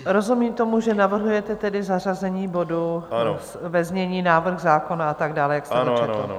Rozumím tomu, že navrhujete tedy zařazení bodu ve znění návrh zákona a tak dále, jak jste ho četl.